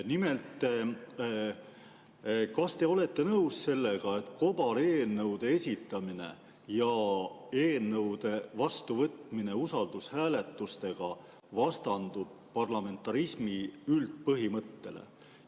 Nimelt, kas te olete nõus sellega, et kobareelnõude esitamine ja eelnõude vastuvõtmine usaldushääletusega vastandub parlamentarismi üldpõhimõttele?